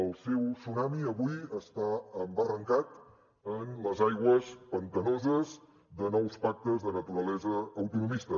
el seu tsunami avui està embarrancat en les aigües pantanoses de nous pactes de naturalesa autonomista